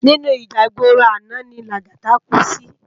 Inú íjà igbóró àná ni Lagata kú si